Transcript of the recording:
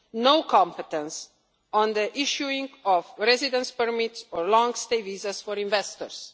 no competence on the issuing of residence permits or long stay visas for investors.